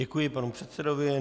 Děkuji panu předsedovi.